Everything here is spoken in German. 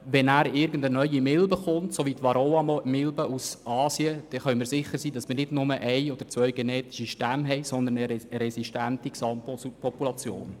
Wenn eine neue Milbe kommt, so wie die Varroaraubmilbe aus Asien, können wir sicher sein, nicht nur ein oder zwei genetische Stämme zu haben, sondern eine resistente Gesamtpopulation.